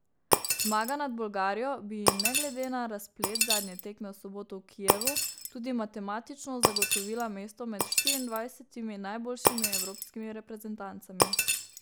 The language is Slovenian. Zmaga nad Bolgarijo bi ji ne glede na razplet zadnje tekme v soboto v Kijevu tudi matematično zagotovila mesto med štiriindvajsetimi najboljšimi evropskimi reprezentancami.